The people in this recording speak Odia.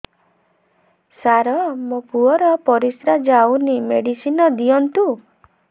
ସାର ମୋର ପୁଅର ପରିସ୍ରା ଯାଉନି ମେଡିସିନ ଦିଅନ୍ତୁ